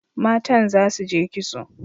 Matan za su je kitso.